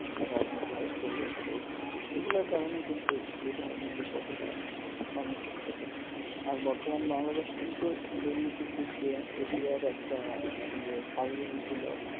রাজনীতিকর পরিবেশ পরিস্থিতি এগুলার কারণে কিন্তু এ ধরেনর বিষয় গুলো আর বর্তমান বাংলাদেশ কিন্তু দুর্নীতির দিক দিয়ে এশিয়ার একটা যে সারভূমি ছিল